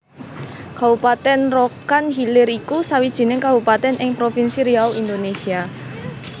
Kabupatèn Rokan Hilir iku sawijining kabupatèn ing Provinsi Riau Indonésia